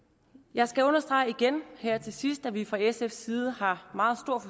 jeg skal understrege igen her til sidst at vi fra sfs side har meget